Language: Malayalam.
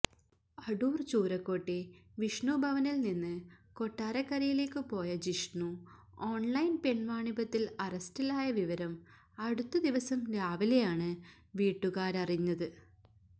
അടൂർ ചൂരക്കോട്ടെ വിഷ്ണുഭവനിൽ നിന്ന് കൊട്ടാരക്കരയിലേക്ക് പോയ ജിഷ്ണു ഓൺലൈൻ പെൺവാണിഭത്തിൽ അറസ്റ്റിലായ വിവരം അടുത്തദിവസം രാവിലെയാണ് വീട്ടുകാരറിഞ്ഞത്